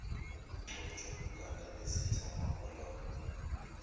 ukugcotshwa kukandabezitha umapholoba